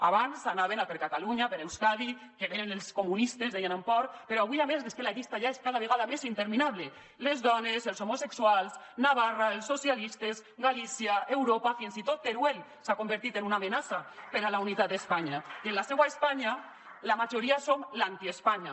abans anaven a per catalunya a per euskadi que venen els comunistes deien amb por però avui a més és que la llista ja és cada vegada més interminable les dones els homosexuals navarra els socialistes galícia europa fins i tot teruel s’ha convertit en una amenaça per a la unitat d’espanya i en la seua espanya la majoria som l’anti espanya